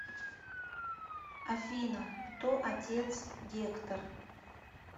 афина кто отец гектор